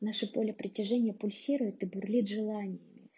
наше поле притяжения пульсирует и бурлит желание